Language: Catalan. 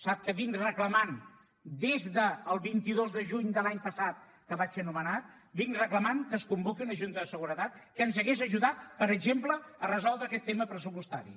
sap que des del vint dos de juny de l’any passat que vaig ser nomenat he reclamat que es convoqui una junta de seguretat que ens hauria ajudat per exemple a resoldre aquest tema pressupostari